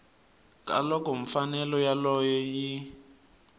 ka loko mfanelo yoleyo yi